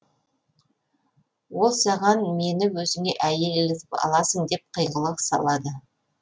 ол саған мені өзіңе әйел етіп аласың деп қиғылық салады